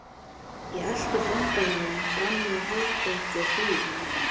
Ég elti fangavörðinn fram í hefðbundinni hlýðni.